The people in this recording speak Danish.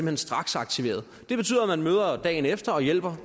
hen straksaktiveret det betyder at man møder dagen efter og hjælper